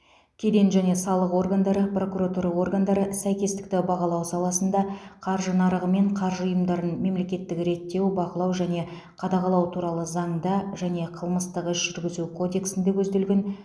кеден және салық органдары прокуратура органдары сәйкестікті бағалау саласында қаржы нарығы мен қаржы ұйымдарын мемлекеттік реттеу бақылау және қадағалау туралы заңда және қылмыстық іс жүргізу кодексінде көзделген